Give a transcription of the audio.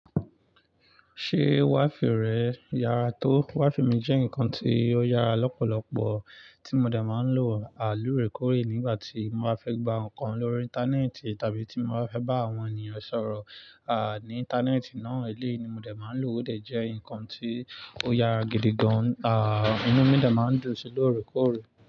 Ṣé waafi rẹ yára tó? Waafi mi jẹ́ nǹkan tí ó yára lọ́pọ̀lọpọ̀ tí mo dà máa ń lò àlúrekorè nígbà tí mo máa fẹ́ gba nǹkan lórí Íńtánẹ́ẹ̀tì tàbí tí mo máa fẹ́ bá àwọn ènìyàn sọ̀rọ̀, à, ní Íńtánẹ́ẹ̀tì náà. Eléyìí ni mo dè máa ń lò ó dè jẹ́ nǹkan tí ó yára gidi gan. À, inú mi dà máa ń dùn sí lórèkórè.